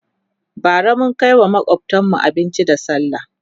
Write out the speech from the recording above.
bara mun Kai wa makwftanmu abinci da sallah